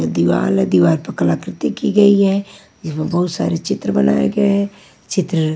दीवार दीवार पर कलाकृति की गई है यहाँ बहुत सारे चित्र बनाए गए हैं चित्र--